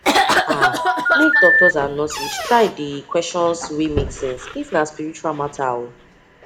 make doctors and nurses try dey questions wey make sense if na spirtual matter oo